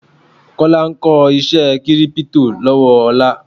Kọ́lá ń kó iṣé kírípítò lọ́wọ́ Ọlá.